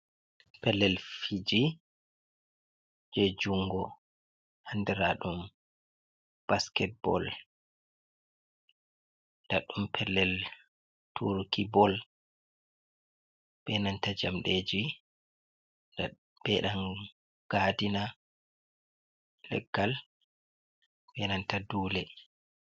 Pellel fiiji je juungo andira ɗum basket bol. Ndaɗum pellel turiki bol be nanta jamɗeji be ɗan gadina, leggal be nanta dule.